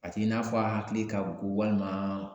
A t'i n'a fɔ a hakili ka go walima